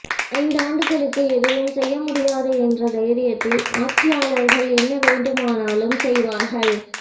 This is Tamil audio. ஐந்தாண்டுகளுக்கு எதுவும் செய்ய முடியாது என்ற தைரியத்தில் ஆட்சியாளர்கள் என்ன வேண்டுமெனாலும் செய்வார்கள்